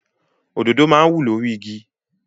Òdòdó máa ń wù lórí igi.